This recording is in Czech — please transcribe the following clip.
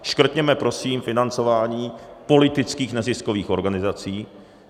Škrtněme prosím financování politických neziskových organizací.